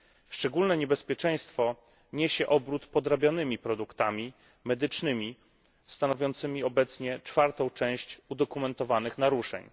Szczególne niebezpieczeństwo niesie obrót podrabianymi produktami medycznymi, stanowiącymi obecnie czwartą część udokumentowanych naruszeń.